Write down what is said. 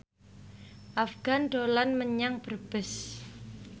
Afgan dolan menyang Brebes